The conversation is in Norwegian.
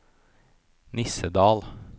Nissedal